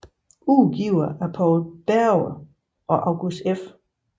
Udgivet af Poul Bjerge og August F